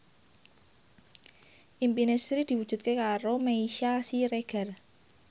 impine Sri diwujudke karo Meisya Siregar